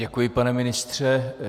Děkuji, pane ministře.